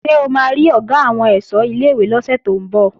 Ṣé o máa rí Ọ̀gá àwọn ẹ̀ṣọ́ ilé-ìwé lọ́sẹ̀ tó ń bọ̀?